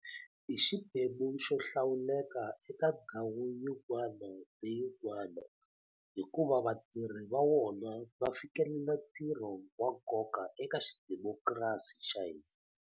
I xiphemu xo hlawuleka eka ndhawu yin'wana na yin'wana hikuva vatirhi va wona va fikelela ntirho wa nkoka eka xidimokirasi xa hina.